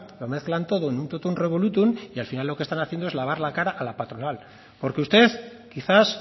lo mezclan todo en un totum revolutum y al final lo que están haciendo es lavar la cara a la patronal porque usted quizás